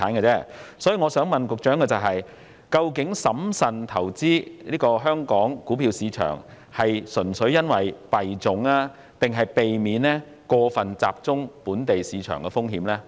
因此，我想問局長的是，究竟審慎投資香港股票市場是純粹因為幣種，還是避免過分集中本地市場的風險？